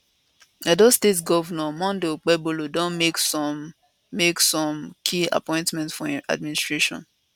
edo state govnor monday okpebholo don make some make some key appointments for im administration